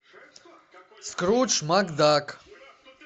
скрудж макдак